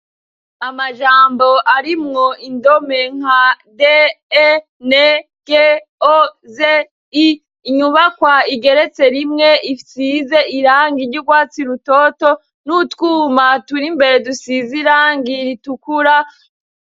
Amajambo ari mwo indome nka de e ne g o ze i inyubakwa igeretse rimwe ifyize iranga iry'urwatsi lutoto n'utwuma tura imbere dusizirangira itukura.